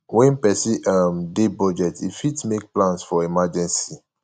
when person um dey budget im fit make plans for emergency